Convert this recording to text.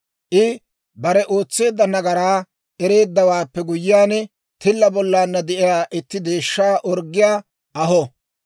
I bare ootseedda nagaraa ereeddawaappe guyyiyaan, tilla bollaanna de'iyaa itti deeshshaa orggiyaa aho.